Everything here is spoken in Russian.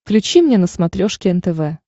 включи мне на смотрешке нтв